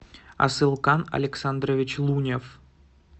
асылкан александрович лунев